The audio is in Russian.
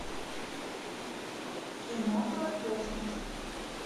кино про космос